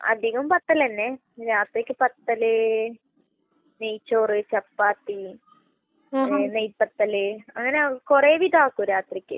അധികവും പത്തൽ തന്നെ. രാത്രിക്ക് പത്തല്, നെയ്‌ച്ചോറ്, ചപ്പാത്തി, പിന്നെ നെയ്പത്തല്. അങ്ങനെ കൊറേ വിധാക്കും രാത്രിക്ക്.